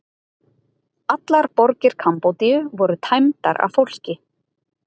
Allar borgir Kambódíu voru tæmdar af fólki.